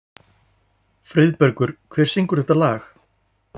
Friðbergur, hver syngur þetta lag?